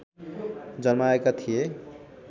जमाएका थिए